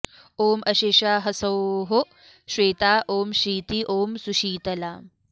ॐ अशेषा ह्सौः श्वेता ॐ शीती ॐ सुशीतला